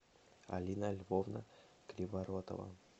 алина львовна криворотова